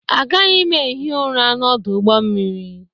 Agaghị m ehi ụra n'ọdụ ụgbọ mmiri.